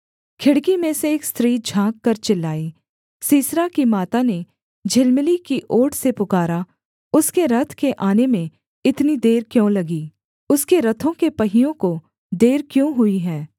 खिड़की में से एक स्त्री झाँककर चिल्लाई सीसरा की माता ने झिलमिली की ओट से पुकारा उसके रथ के आने में इतनी देर क्यों लगी उसके रथों के पहियों को देर क्यों हुई है